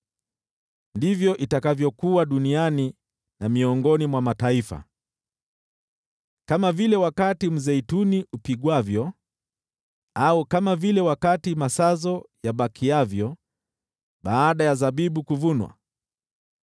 Ndivyo itakavyokuwa duniani na miongoni mwa mataifa, kama vile wakati mzeituni upigwavyo, au kama vile wakati masazo yabakiavyo baada ya zabibu kuvunwa.